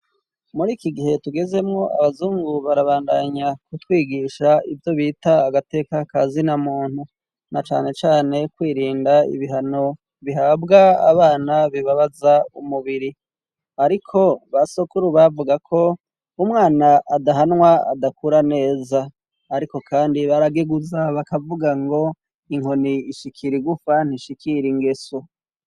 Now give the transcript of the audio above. Mur'ikigihe tugezemwo abazungu barabandanya kutwigisha ivyo bita agateka kazina muntu nacanecane kwirinda ibihano bihabwa abana bibabaza umubiri. Ariko basokuru bavuga ko umwana adahanwa adakura neza ariko kandi barageguza bakavuga ngo inkoni ishikira igufa ntishikira ingeso.